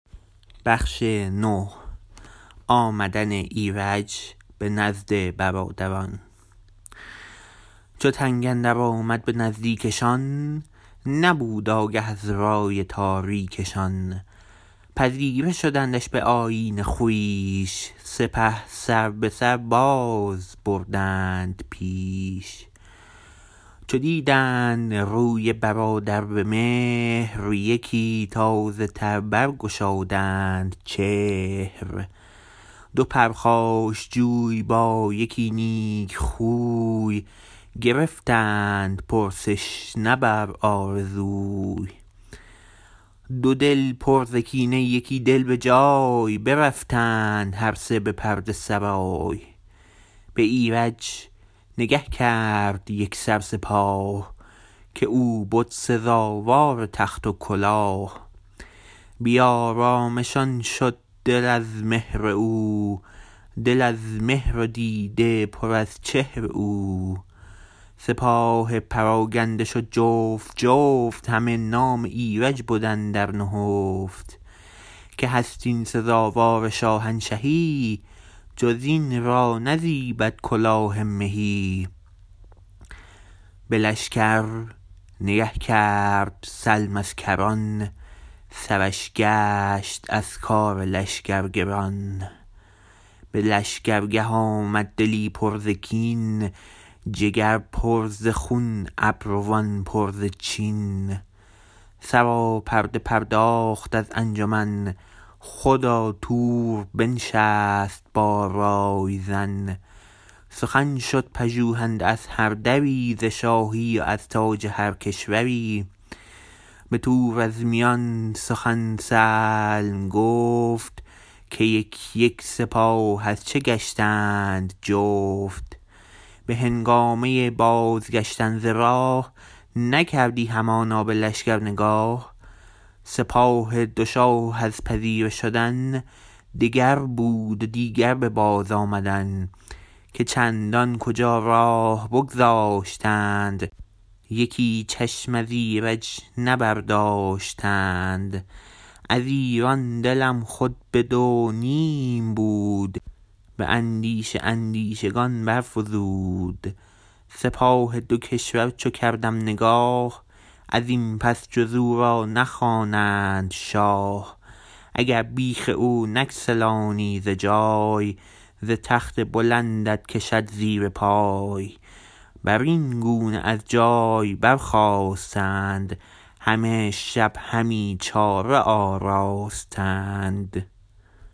چو تنگ اندر آمد به نزدیکشان نبود آگه از رای تاریکشان پذیره شدندش به آیین خویش سپه سربسر باز بردند پیش چو دیدند روی برادر به مهر یکی تازه تر برگشادند چهر دو پرخاشجوی با یکی نیک خوی گرفتند پرسش نه بر آرزوی دو دل پر ز کینه یکی دل به جای برفتند هر سه به پرده سرای به ایرج نگه کرد یکسر سپاه که او بد سزاوار تخت و کلاه بی آرامشان شد دل از مهر او دل از مهر و دیده پر از چهر او سپاه پراگنده شد جفت جفت همه نام ایرج بد اندر نهفت که هست این سزاوار شاهنشهی جز این را نزیبد کلاه مهی به لشکر نگه کرد سلم از کران سرش گشت از کار لشکر گران به لشگرگه آمد دلی پر ز کین جگر پر ز خون ابروان پر ز چین سراپرده پرداخت از انجمن خود و تور بنشست با رای زن سخن شد پژوهنده از هردری ز شاهی و از تاج هر کشوری به تور از میان سخن سلم گفت که یک یک سپاه از چه گشتند جفت به هنگامه بازگشتن ز راه نکردی همانا به لشکر نگاه سپاه دو شاه از پذیره شدن دگر بود و دیگر به بازآمدن که چندان کجا راه بگذاشتند یکی چشم از ایرج نه برداشتند از ایران دلم خود به دو نیم بود به اندیشه اندیشگان برفزود سپاه دو کشور چو کردم نگاه از این پس جز او را نخوانند شاه اگر بیخ او نگسلانی ز جای ز تخت بلندت کشد زیر پای برین گونه از جای برخاستند همه شب همی چاره آراستند